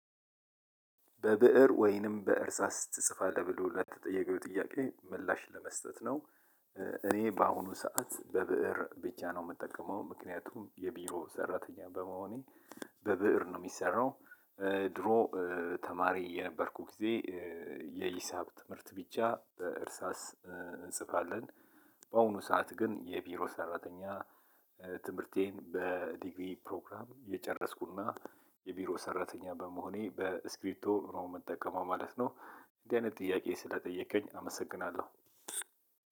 በብእር ወይንም በእርሳስ ትጽፋለህ ብሎ ለተጠየቀው ጥያቄ ምላሽ ለመስጠት ነው። እኔ በአሁኑ ሰዓት በብእር ብቻ ነው የምጠቀመው ምክንያቱም የቢሮ ሰራተኛ በመሆኔ። በብእር ነው የሚሰራው። ድሮ ተማሪ የነበርኩት ጊዜ። የሂሳብ ትምህርት ብቻ በእርሳስ እንጽፋለን። በአሁኑ ሰዓት ግን የቢሮ ሰራተኛ። ትምህርቴን በዲግሪ ፕሮግራም የጨረስኩና የቢሮ ሰራተኛ በመሆኔ በእስክሪፕቶ ነው ምጠቀመው ነው ማለት ነው። እንዲህ አይነት ጥያቄ ስለጠየከኝ አመሰግናለሁ።